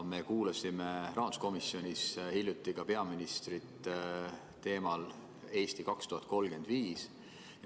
Me kuulasime rahanduskomisjonis hiljuti ka peaministrit teemal "Eesti 2035".